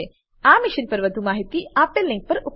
આ મિશન પર વધુ માહિતી આપેલ લીંક પર ઉપલબ્ધ છે